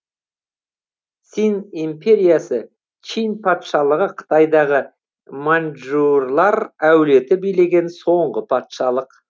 цинь империясы чинь патшалығы қытайдағы маньчжурлар әулеті билеген соңғы патшалық